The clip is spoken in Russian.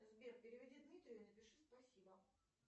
сбер переведи дмитрию и напиши спасибо